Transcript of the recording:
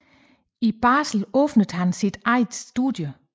I Basel åbnede han sit eget studie